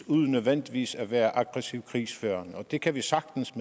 uden nødvendigvis at være aggressivt krigsførende og det kan vi sagtens